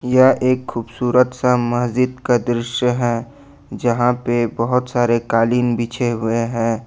यह एक खूबसूरत सा मस्जिद का दृश्य है जहां पे बहुत सारे कालीन बिछे हुए हैं।